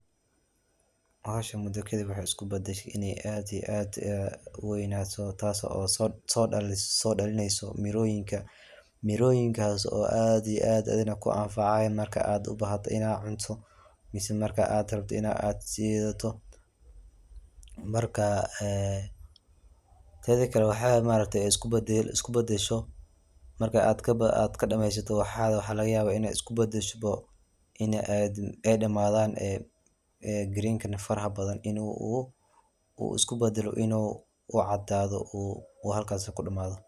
Bahashan midabkeeda waxay isku badashe inay aad iyo aad u waynato taas oo sodhalinayso miroyinka miroyinkas oo aad iyo aad adina ku anfacaya marka aad u bahato ina cunto mise marka aad rabto ina aad shidato marka ee teda kale waxay ma aragtay isku badasho marka aad kadameysato waxaaga waxaa lagayaaba inay isku badasho ini ay dhamaadan ee green kan faraha badan inu u isku badalo inu u cadaado uu halkas ku dhamado.